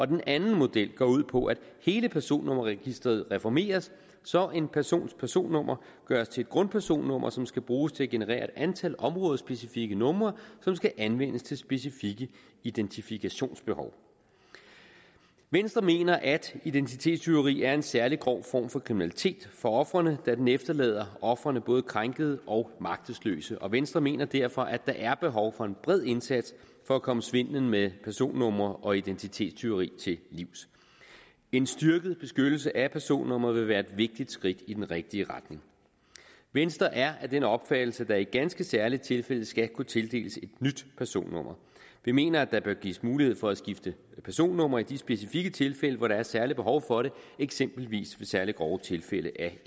den anden model går ud på at hele personnummerregisteret reformeres så en persons personnummer gøres til et grundpersonnummer som skal bruges til at generere et antal områdespecifikke numre som skal anvendes til specifikke identifikationsbehov venstre mener at identitetstyveri er en særlig grov form for kriminalitet for ofrene da den efterlader ofrene både krænkede og magtesløse og venstre mener derfor at der er behov for en bred indsats for at komme svindelen med personnumre og identitetstyveri til livs en styrket beskyttelse af personnummeret vil være et vigtigt skridt i den rigtige retning venstre er af den opfattelse at der i ganske særlige tilfælde skal kunne tildeles et nyt personnummer vi mener at der bør gives mulighed for at skifte personnummer i de specifikke tilfælde hvor der er et særligt behov for det eksempelvis ved særlig grove tilfælde af